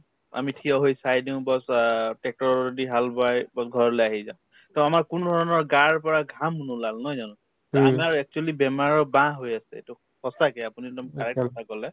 আমি থিয় হৈ চাই দিও bass অ tractor ৰৰ দি হাল বায় bass ঘৰলে আহি যাওঁ to আমাৰ কোনো ধৰণৰ গাৰ পৰা ঘাম নোলাল নহয় জানো to আমাৰ actually বেমাৰৰ বাহ হৈ আছে এইটো সঁচাকে আপুনি একদম correct কথা কলে